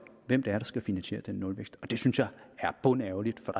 hvem det er der skal finansiere den nulvækst det synes jeg er bundærgerligt for